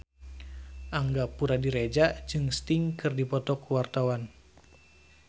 Angga Puradiredja jeung Sting keur dipoto ku wartawan